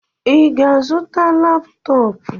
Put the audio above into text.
I ga-azụta laptọp?